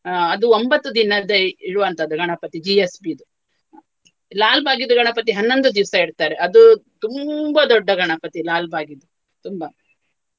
ಅಹ್ ಅದು ಒಂಬತ್ತು ದಿನದ್ದೇ ಇಡುವಂತದ್ದು ಗಣಪತಿ GSB ದು. ಲಾಲ್ಬಾಗ್ ದ್ದು ಗಣಪತಿ ಹನ್ನೊಂದು ದಿವ್ಸ ಇಡ್ತಾರೆ ಅದು ತುಂಬಾ ದೊಡ್ಡ ಗಣಪತಿ ಲಾಲ್ಬಾಗ್ ದ್ದು ತುಂಬಾ